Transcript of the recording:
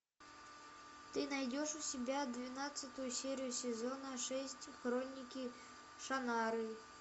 ты найдешь у себя двенадцатую серию сезона шесть хроники шаннары